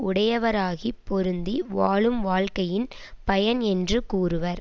உடையவராகிப் பொருந்தி வாழும் வாழ்கையின் பயன் என்று கூறுவர்